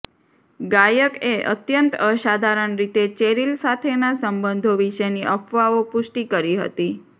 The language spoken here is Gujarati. ગાયકએ અત્યંત અસાધારણ રીતે ચેરીલ સાથેના સંબંધો વિશેની અફવાઓ પુષ્ટિ કરી હતી